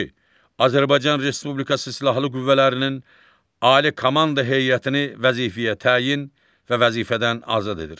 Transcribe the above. Azərbaycan Respublikası Silahlı Qüvvələrinin Ali Komanda Heyətini vəzifəyə təyin və vəzifədən azad edir.